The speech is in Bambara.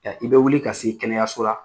Yan i bɛ wuli ka se kɛnɛyaso la.